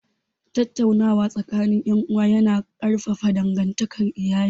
Tattaunawa tsakanin ’yan’uwa ya na ƙarfafa dangantakar iyali